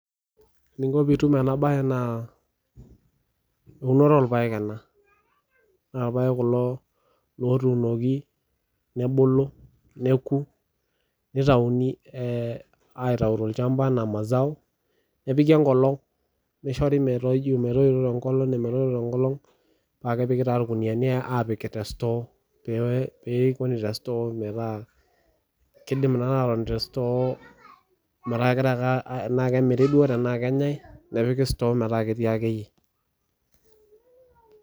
Eniko piitum ena bae naa eunoto oorpaek ena, naa irpaek kulo ootunoki mebulu neku, nitauni ataau tolshamba anaa mazao nepiki enkolong nishori metoijo te nkolong metotona te nkolong paa kepiki taa irkuniani apik te store peekuni te store metaa kegirae ake tenaa kemiri duoo tenaa kenyai nepiki store meetaa kegirae metaa ketii akeyie.